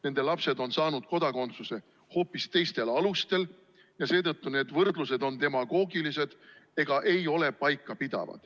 Nende lapsed on saanud kodakondsuse hoopis teistel alustel ja seetõttu on need võrdlused demagoogilised ega pea paika.